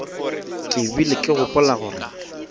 ke bile ke gopola gore